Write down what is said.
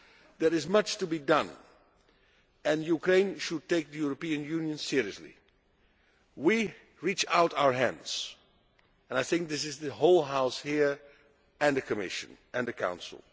There is much to be done, and Ukraine should take the European Union seriously. We reach out our hands, and I think this is true for the whole House here, the Commission and the Council.